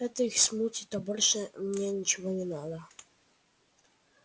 это их смутит а больше мне ничего не надо